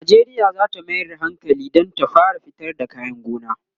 Najeriya zata Mayar da hankali Dan ta fara fitar da kayan gona